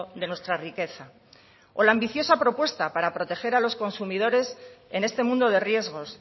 de nuestra riqueza o la ambiciosa propuesta para proteger a los consumidores en este mundo de riesgos